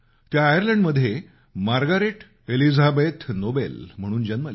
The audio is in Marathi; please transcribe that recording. त्या आयर्लंडमध्ये मार्गारेट एलिझाबेथ नोबेल म्हणून जन्मल्या